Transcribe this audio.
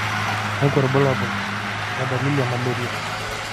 kakwa irbulabol o dalili e Malaria?